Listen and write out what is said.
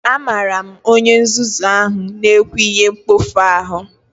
Amara m onye nzuzu ahụ na-ekwu ihe mkpofu ahụ